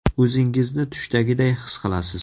O‘zingizni tushdagiday his qilasiz.